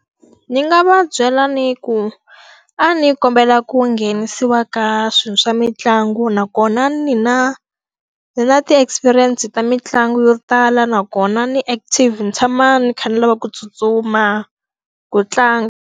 Ni nga va byela ni ku, a ni kombela ku nghenisiwa ka swilo swa mitlangu nakona ni na, ni na ti-experience ta mitlangu yo tala. Nakona ni active ni tshama ni kha ni lava ku tsutsuma, ku tlanga.